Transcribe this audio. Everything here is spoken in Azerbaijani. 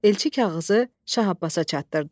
Elçi kağızı Şah Abbasa çatdırdı.